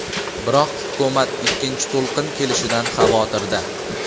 Biroq hukumat ikkinchi to‘lqin kelishidan xavotirda.